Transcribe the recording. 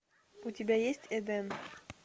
у тебя есть эден